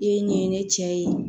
I ye ɲɛɲini ne cɛ ye